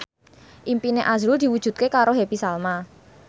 impine azrul diwujudke karo Happy Salma